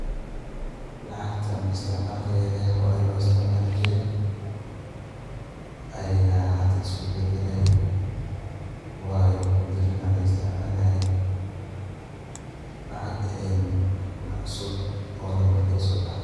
Lacagtaan isticmal kedhee hoorey loisticmali jiree ayaa hadaa isku badalee waayo mudoo badhaan ayaa laisticmalaye lacaag een cusub oo mar daaw sobaxdee.